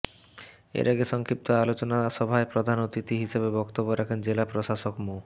এর আগে সংক্ষিপ্ত আলোচনা সভায় প্রধান অতিথি হিসেবে বক্তব্য রাখেন জেলা প্রশাসক মো